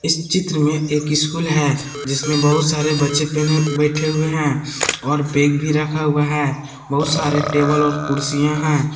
चित्र में एक स्कूल है जिसमें बहुत सारे बच्चे पहने बैठे हुए हैं और बैग भी रखा हुआ है बहुत सारे टेबल और कुर्सियां हैं।